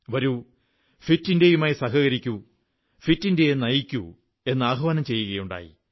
വരൂ ഫിറ്റ് ഇന്ത്യയുമായി സഹകരിക്കൂ ഫിറ്റ് ഇന്ത്യയെ നയിക്കൂ എന്ന് ആഹ്വാനം ചെയ്യുകയുണ്ടായി